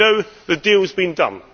over. We know the deal has been